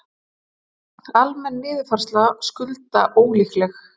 Almenn niðurfærsla skulda ólíkleg